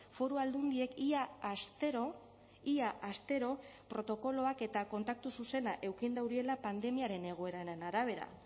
foru aldundiek ia astero ia astero protokoloak eta kontaktu zuzena eduki dauriela pandemiaren egoeraren arabera